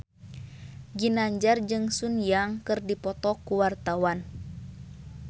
Ginanjar jeung Sun Yang keur dipoto ku wartawan